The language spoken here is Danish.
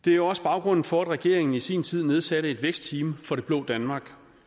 det er også baggrunden for at regeringen i sin tid nedsatte et vækstteam for det blå danmark